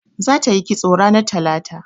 Za ta yi kisto ranar talata